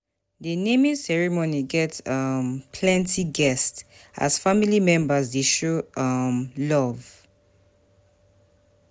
The naming ceremony get um plenty guests, as family members dey show um love.